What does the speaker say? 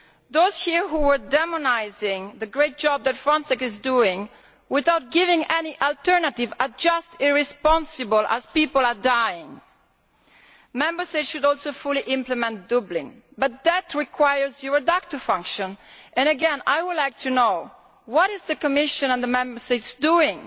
Those here who are demonising the great job that Frontex is doing without offering any alternatives are just irresponsible, as people are dying. Member States should also fully implement Dublin, but that requires a Eurodac function and again, I would like to know what the Commission and the Member States are doing